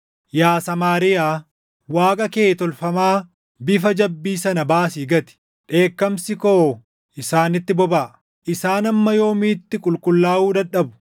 Yaa Samaariyaa, waaqa kee tolfamaa bifa jabbii sana baasii gati! Dheekkamsi koo isaanitti bobaʼa. Isaan hamma yoomiitti qulqullaaʼuu dadhabu?